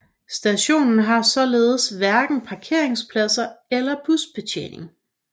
Stationen har således hverken parkeringspladser eller busbetjening